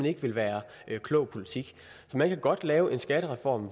ikke ville være klog politik så man kan godt lave en skattereform